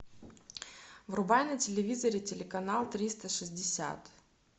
врубай на телевизоре телеканал триста шестьдесят